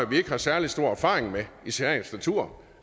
vi ikke har særlig stor erfaring med i sagens natur